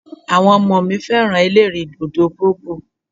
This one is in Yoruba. Àwọn ọmọ mi fẹ́ràn ẹlẹ́rìì dòdò bobò.